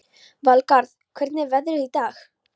Valgarð, hvernig er veðrið í dag?